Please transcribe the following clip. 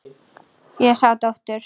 Ég sá dóttur.